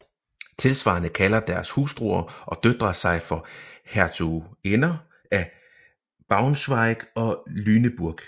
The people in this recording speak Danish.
Tilsvarende kalder deres hustruer og døtre sig for hertuginder af Braunschweig og Lüneburg